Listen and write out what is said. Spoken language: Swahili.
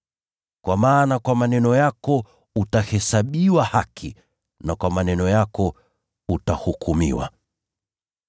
Kwa maana kwa maneno yako utahesabiwa haki, na kwa maneno yako utahukumiwa.”